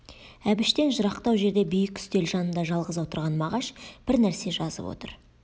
әбіштен жырақтау жерде биік үстел жанында жалғыз отырған мағаш бір нәрсе жазып отыр